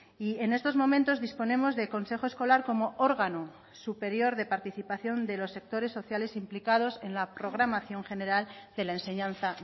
y en estos momentos disponemos de consejo escolar como órgano superior de participación de los sectores sociales implicados en la programación general de la enseñanza